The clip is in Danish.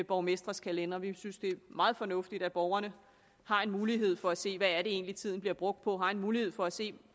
borgmestres kalendere vi synes det er meget fornuftigt at borgerne har en mulighed for at se hvad det egentlig er tiden bliver brugt på har en mulighed for at se